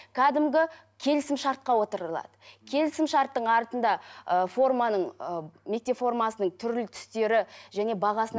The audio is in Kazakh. кәдімгі келісімшартқа отырылады келісімшарттың артында ы форманың ы мектеп формасының түрлі түстері және бағасына